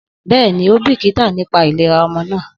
Bẹ́ẹ̀ni, ó bìkítà nípa ìlera ọmọ náà.